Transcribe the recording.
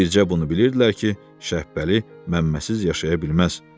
Bircə bunu bilirdilər ki, Şəhbəli Məmməsiz yaşaya bilməz.